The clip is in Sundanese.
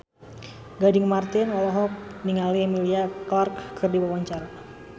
Gading Marten olohok ningali Emilia Clarke keur diwawancara